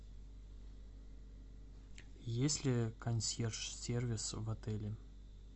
есть ли консьерж сервис в отеле